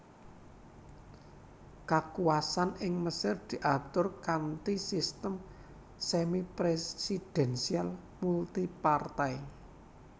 Kakuwasan ing Mesir diatur kanthi sistem semipresidensial multipartai